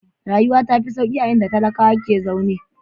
Rayuwa ta fi sauƙi a inda talakawa ke zaune.